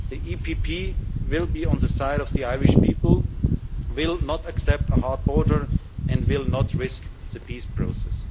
The EPP will be on the side of the Irish people we will not accept a hard border, and will not risk the peace process.